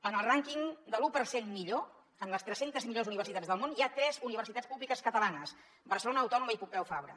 en el rànquing de l’u per cent millor en les tres centes millors universitats del món hi ha tres universitats públiques catalanes barcelona autònoma i pompeu fabra